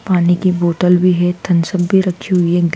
पानी की बोटल भी है थनसब भी रखी हुई है।